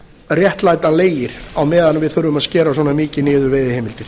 réttlætanlegir á meðan við þurfum að skera svona mikið niður veiðiheimildir